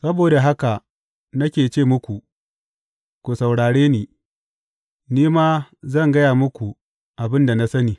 Saboda haka nake ce muku, ku saurare ni; ni ma zan gaya muku abin da na sani.